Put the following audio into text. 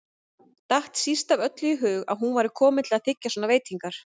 Datt síst af öllu í hug að hún væri komin til að þiggja svona veitingar.